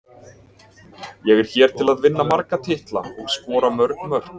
Ég er hér til að vinna marga titla og skora mörg mörk.